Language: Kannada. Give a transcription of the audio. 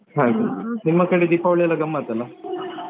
ಹಾಗೆಯೇ ನಿಮ್ಮ ಕಡೆ ದೀಪವಾಳಿಯೆಲ್ಲ ಗಮ್ಮತ್ತಲ್ಲ.